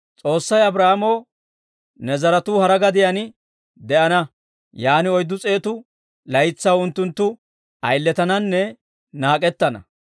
S'oossay Abraahaamoo, ‹Ne zaratuu hara gadiyaan de'ana; yaan oyddu s'eetu laytsaw unttunttu ayiletananne naak'ettana.